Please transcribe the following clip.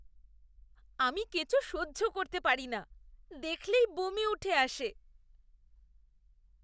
আমি কেঁচো সহ্য করতে পারি না, দেখলেই বমি উঠে আসে!